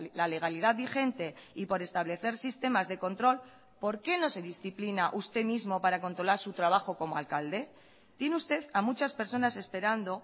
la legalidad vigente y por establecer sistemas de control por qué no se disciplina usted mismo para controlar su trabajo como alcalde tiene usted a muchas personas esperando